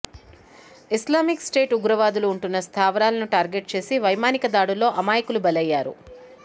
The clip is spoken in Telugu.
ఇస్లామిక్ స్టేట్ ఉగ్రవాదులు ఉంటున్న స్థావరాలను టార్గెట్ చేసి వైమానిక దాడుల్లో అమాయకులు బలయ్యారు